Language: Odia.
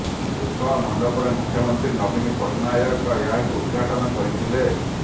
ଉତ୍କଳ ମଣ୍ଡପରେ ମୁଖ୍ୟମନ୍ତ୍ରୀ ନବୀନ ପଟ୍ଟନାୟକ ଏହାକୁ ଉଦ୍ଘାଟନ କରିଥିଲେ